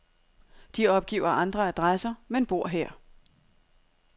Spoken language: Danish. De opgiver andre adresser, men bor her.